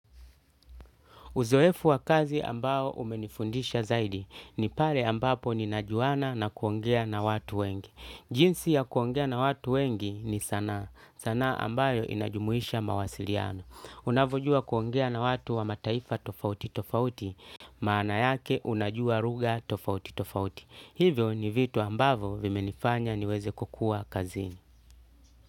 Uzoefu wa kazi ambao umenifundisha zaidi ni pale ambapo ninajuana na kuongea na watu wengi. Jinsi ya kuongea na watu wengi ni sana. Sanaa ambayo inajumuisha mawasiliano. Unavojua kuongea na watu wa mataifa tofauti tofauti maana yake unajua lugha tofauti tofauti. Hivyo ni vitu ambavo vimenifanya niweze kukua kazini.